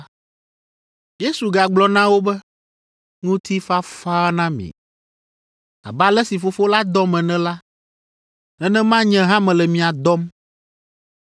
Yesu gagblɔ na wo be, “Ŋutifafa na mi. Abe ale si Fofo la dɔm ene la, nenema nye hã mele mia dɔm.”